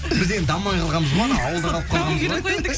біз енді дамымай қалғанбыз ғой ана ауылда қалып қалғанбыз ғой